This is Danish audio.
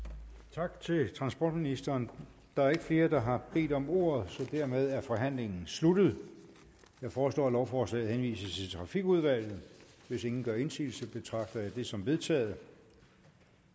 tak til transportministeren der er ikke flere der har bedt om ordet så dermed er forhandlingen sluttet jeg foreslår at lovforslaget henvises til trafikudvalget hvis ingen gør indsigelse betragter jeg det som vedtaget